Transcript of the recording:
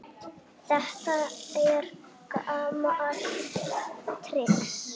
Þetta er gamalt trix.